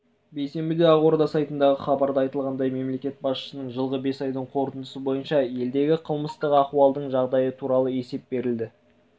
бейсенбіде ақорда сайтындағы хабарда айтылғандай мемлекет басшысына жылғы бес айдың қорытындысы бойынша елдегі қылмыстық ахуалдың жағдайы туралы есеп берілді